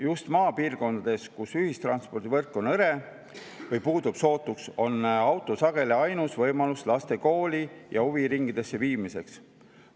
Just maapiirkondades, kus ühistranspordivõrk on hõre või puudub sootuks, on auto sageli ainus võimalus laste kooli ja huviringidesse viimiseks.